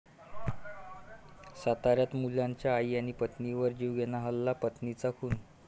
साताऱ्यात मुलाचा आई आणि पत्नीवर जीवघेणा हल्ला, पत्नीचा मृत्यू